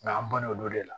Nka an ban na olu de la